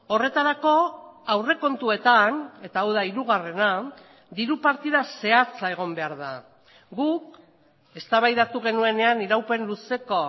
horretarako aurrekontuetan eta hau da hirugarrena diru partida zehatza egon behar da guk eztabaidatu genuenean iraupen luzeko